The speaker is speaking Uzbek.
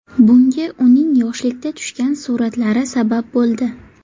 Bunga uning yoshlikda tushgan suratlari sabab bo‘ldi.